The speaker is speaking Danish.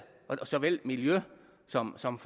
såvel miljø som som